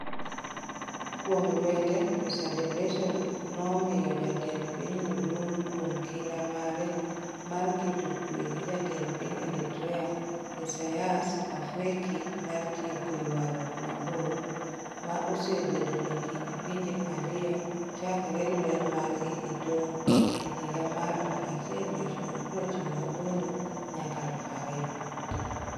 Kuom lwete, Mr. Debretsion nomiyo jatend pinyno duong' kuom kinda mare mar keto kuwe gi Jatend piny Eritrea Isaias Afwerki mar tieko "ywarruok mabor" ma osebedo e kind pinje ariyo chakre lweny margi e tong' e higa mar 1998-2000.